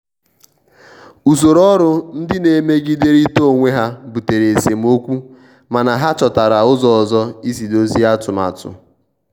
usoro ọrụ ndị na-emegiderịta onwe ha butere esemokwumana ha chọtara ụzọ isi dọzie atụmatụ.